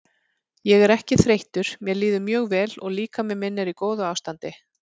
Ég er ekki þreyttur mér líður mjög vel og líkami minn er í góðu ástandi.